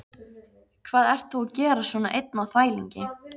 Hvað ert þú að gera svona einn á þvælingi?